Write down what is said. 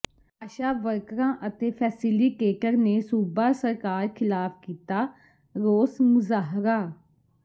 ਆਸ਼ਾ ਵਰਕਰਾਂ ਅਤੇ ਫੈਸੀਲੀਟੇਟਰ ਨੇ ਸੂਬਾ ਸਰਕਾਰ ਖ਼ਿਲਾਫ਼ ਕੀਤਾ ਰੋਸ ਮੁਜ਼ਾਹਰਾ